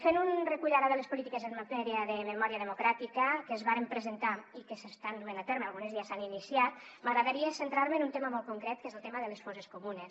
fent un recull ara de les polítiques en matèria de memòria democràtica que es varen presentar i que s’estan duent a terme algunes ja s’han iniciat m’agradaria centrar me en un tema molt concret que és el tema de les fosses comunes